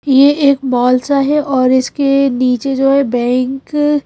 ये एक मॉल सा है और इसके नीचे जो है बैंक --